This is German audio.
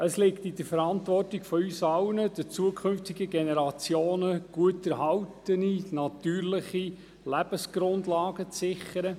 Es liegt in der Verantwortung von uns allen, künftigen Generationen gut erhaltene natürliche Lebensgrundlagen zu sichern.